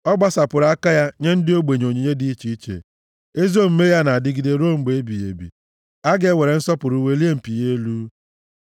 Ọ gbasapụrụ aka ya nye ndị ogbenye onyinye dị iche iche, ezi omume ya na-adịgide ruo mgbe ebighị ebi; a ga-ewere nsọpụrụ welie mpi ya elu.